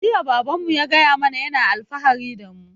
Jiya baban mu ya gaya mana yana alfahari da mu